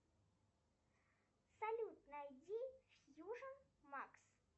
салют найди фьюжн макс